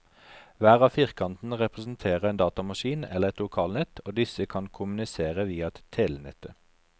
Hver av firkantene representerer en datamaskin eller et lokalnett, og disse kan kommunisere via telenettet.